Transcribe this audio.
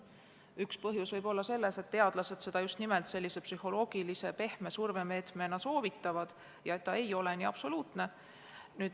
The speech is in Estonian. Üks põhjus võib olla selles, et teadlased soovitavad seda just nimelt sellise psühholoogilise ja pehme survemeetmena ja et see ei ole nii absoluutne.